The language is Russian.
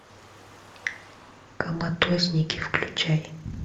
коматозники включай